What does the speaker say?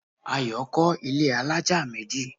Ayo kọ́ ilẹ́ alájà méjì